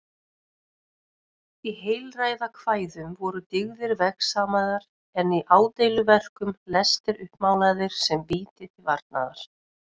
Í heilræðakvæðum voru dyggðir vegsamaðar en í ádeiluverkum lestir uppmálaðir sem víti til varnaðar.